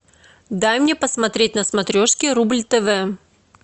дай мне посмотреть на смотрешке рубль тв